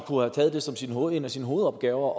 en af sine hovedopgaver